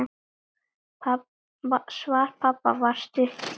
Svar pabba var stutt: Já!